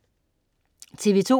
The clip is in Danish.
TV2: